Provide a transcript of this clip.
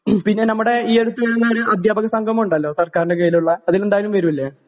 പിന്നെ നമ്മടെ ഈ അടുത്ത് വരുന്ന ഒരു അധ്യാപക സംഗമം ഉണ്ടല്ലോ സർക്കാരിൻ്റെ കീഴിലുള്ള അതിനെന്തായാലും വരൂല്ലേ?